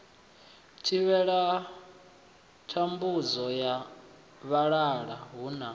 thivhela thambudzo ya vhalala huna